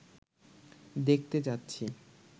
দেখতে যাচ্ছি